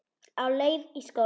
Á leið í skóla.